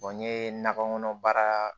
n ye nakɔkɔnɔ baara